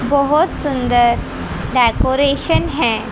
बहोत सुंदर डेकोरेशन है।